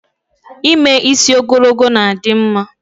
Ime isi ogologo na-adim mma